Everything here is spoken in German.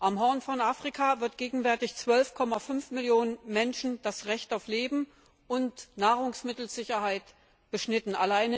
Am Horn von Afrika wird gegenwärtig 12,5 Millionen Menschen das Recht auf Leben und Nahrungsmittelsicherheit beschnitten.